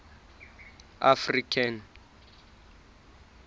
african